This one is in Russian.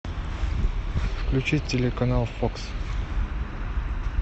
включить телеканал фокс